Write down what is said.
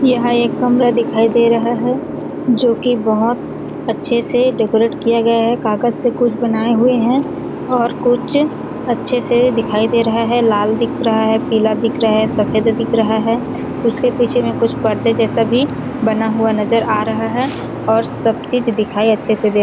यहाँ एक कमरा दिखाई दे रहा है जो कि बहुत अच्छे से डेकोरेट किया गया है कागज से कुछ बनाए हुए है और कुछ अच्छे से दिखाई दे रहा है लाल दिख रहा है पीला दिख रहा है सफेद दिख रहा है उसके पीछे में कुछ पर्दे जैसा भी बना हुआ नज़र आ रहा है और सब चीज दिखाई अच्छे से दे --